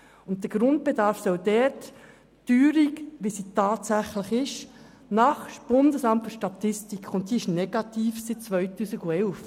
Und der Grundbedarf soll dort die tatsächliche Teuerung – sie ist seit dem Jahr 2011 negativ – gemäss dem BFS in Betracht ziehen.